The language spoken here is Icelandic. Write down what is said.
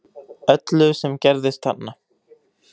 Öllu sem gerðist þarna